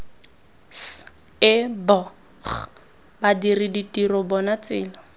sebg badiri ditiro bona tsela